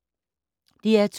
DR2